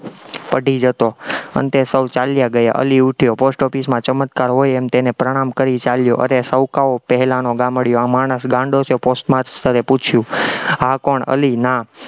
પઢી જતો, અંતે સૌ ચાલ્યા ગયા, અલી ઉઠ્યો, post office માં ચમત્કાર હોય એમ તેને પ્રણામ કરી ચાલ્યો અને સૌકાઓ પહેલાનો ગામડિયો, આ માણસ ગાંડો છે? post master એ પૂછ્યું આ કોણ અલી, ના